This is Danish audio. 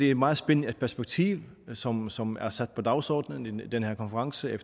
et meget spændende perspektiv som som er sat på dagsordenen på den her konference i